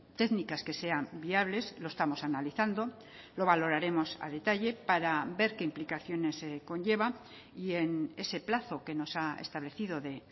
técnicas que sean viables lo estamos analizando lo valoraremos a detalle para ver qué implicaciones conlleva y en ese plazo que nos ha establecido de